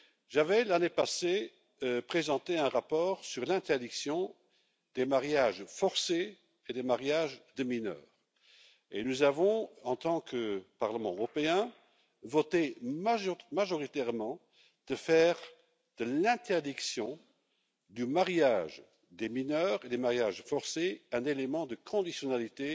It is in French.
J'avais, l'année passée, présenté un rapport sur l'interdiction des mariages forcés et des mariages de mineurs et nous avons, en tant que Parlement européen, voté majoritairement pour faire de l'interdiction du mariage des mineurs et des mariages forcés un élément de conditionnalité